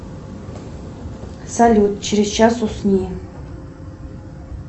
салют через час усни